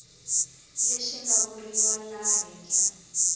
leswi nga vuriwa laha henhla